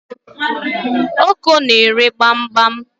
Oko na-ere gbam gbam